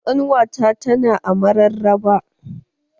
Ƙanuwata ta na a mararaba